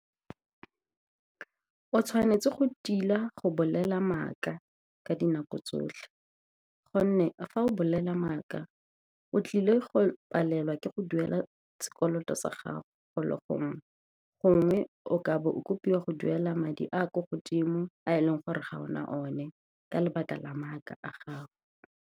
O tshwanetse go tila go bolela maaka ka dinako tsotlhe, gonne fa o bolela maaka o tlile go palelwa ke go duela sekoloto sa gago go le gongwe. Gongwe o ka be o kopiwa go duela madi a kwa godimo, a e leng gore ga ona o ne ka lebaka la maaka a gago.